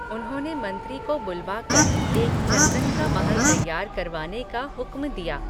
उन्होंने मंत्री को बुलवाकर, एक चंदन का महल तैयार करवाने का हुक्म दिया